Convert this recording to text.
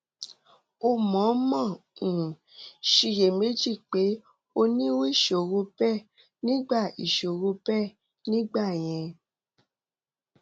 o mọọmọ um ṣiyèméjì pé o ní irú ìṣòro bẹẹ nígbà ìṣòro bẹẹ nígbà yẹn